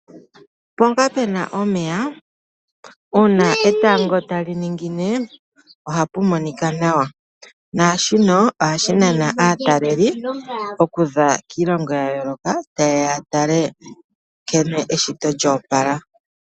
Mpoka puna omeya uuna etango taliningine ohapu monika nawa, naashino ohashinana aatalelipo okuza kiilongo yayooloka yeya okutala nkene eshito lya opala.